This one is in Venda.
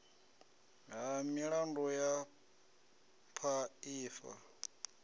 ha milandu hu paa ifa